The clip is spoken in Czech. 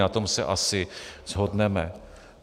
Na tom se asi shodneme.